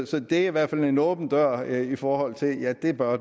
så det er i hvert fald en åben dør i forhold til at den bør